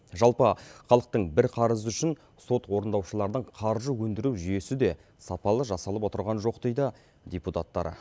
жалпы халықтың бір қарызы үшін сот орындаушыларының қаржы өндіру жүйесі де сапалы жасалып отырған жоқ дейді депутаттар